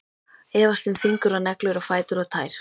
Efast um fingur og neglur og fætur og tær.